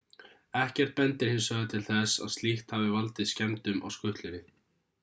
ekkert bendir hins vegar til þess að slíkt hafi valdið skemmdum á skutlunni